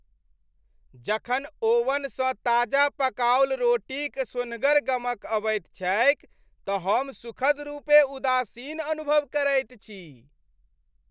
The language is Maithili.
जखन ओवनसँ ताजा पकाओल रोटीक सोन्हगर गमक अबैत छैक त हम सुखद रूपेँ उदासीन अनुभव करैत छी।